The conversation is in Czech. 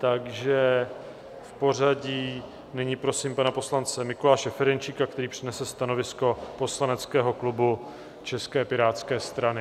Takže v pořadí nyní prosím pana poslance Mikuláše Ferjenčíka, který přednese stanovisko poslaneckého klubu České pirátské strany.